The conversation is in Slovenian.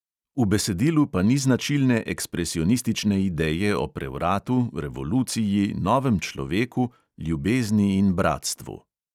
V besedilu pa ni značilne ekspresionistične ideje o prevratu, revoluciji, novem človeku, ljubezni in bratstvu.